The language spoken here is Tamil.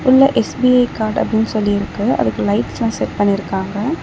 உள்ள எஸ்_பி_ஐ கார்டு அப்படின்னு சொல்லி இருக்கு அதுக்கு லைட்ஸ்லா செட் பண்ணிருக்காங்க.